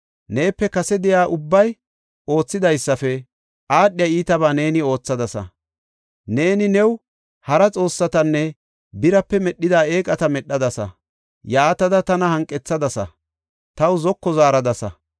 Neepe kase de7iya ubbay oothidaysafe aadhiya iitaba neeni oothadasa. Neeni new hara xoossatanne birape medhida eeqata medhadasa. Yaatada tana hanqethadasa; taw zoko zaaradasa.